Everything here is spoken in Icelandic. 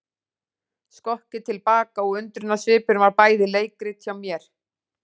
Skokkið til baka og undrunarsvipurinn var bæði leikrit hjá mér.